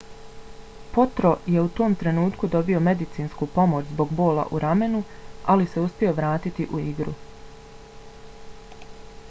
potro je u tom trenutku dobio medicinsku pomoć zbog bola u ramenu ali se uspio vratiti u igru